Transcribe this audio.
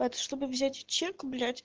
это чтобы взять чек блять